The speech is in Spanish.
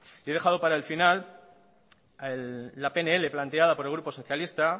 y he dejado para el final la pnl planteada por el grupo socialista